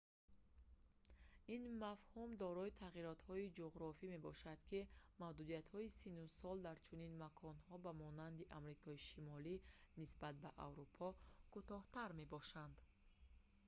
ин мафҳум дорои тағйиротҳои ҷуғрофие мебошад ки маҳдудиятҳои синну сол дар чунин маконҳо ба монанди амрикои шимолӣ нисбат ба аврупо кӯтоҳтар мебошанд